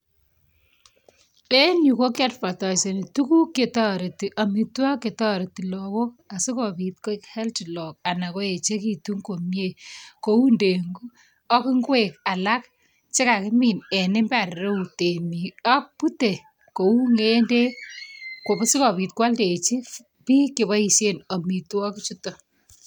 en yu kokeadvatiasani tuguk chetoreti, amitwogik chetoreti lagook asikobit koek healthy anan koechekitu komyie, kouu ndengu ak ngwek alak chekakimin en mbar reu temik ak bute kouu ko sikobit kwaldechi biik cheboisie amitwogik chutok